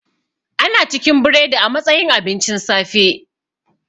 Ana cikin biredi a matsayin abincin safe